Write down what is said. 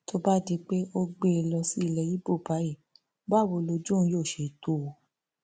tó bá di pé o gbé e lọ sílé ibo báyìí báwo lojú òun yóò ṣe tó o